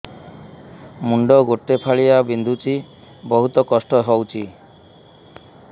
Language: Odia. ମୁଣ୍ଡ ଗୋଟେ ଫାଳିଆ ବିନ୍ଧୁଚି ବହୁତ କଷ୍ଟ ହଉଚି